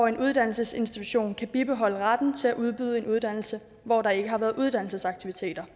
en uddannelsesinstitution kan bibeholde retten til at udbyde en uddannelse hvor der ikke har været uddannelsesaktiviteter